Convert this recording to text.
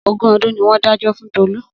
Ogún ọdún ni wọ́n dájọ́ fún Tolu